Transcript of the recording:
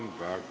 Tänan väga!